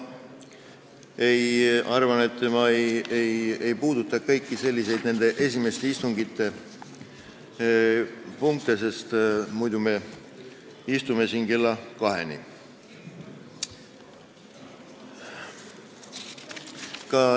Ma ei puuduta kõiki nende esimeste istungite punkte, muidu me istume siin kella kaheni.